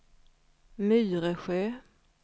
Myresjö